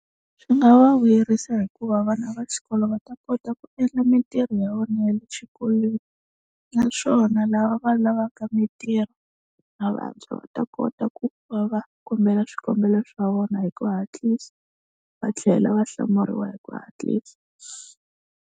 Swi nga va vuyerisa hikuva vana va xikolo va ta kota ku endla mintirho ya vona ya le xikolweni, naswona lava va lavaka mintirho na vantshwa va ta kota ku va va kombela swikombelo swa vona hi ku hatlisa va tlhela va hlamuriwa hi ku hatlisa.